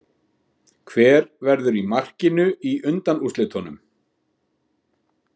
Hver verður í markinu í undanúrslitunum?